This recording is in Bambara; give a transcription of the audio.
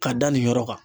Ka da nin yɔrɔ kan